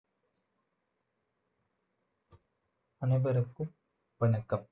அனைவருக்கும் வணக்கம்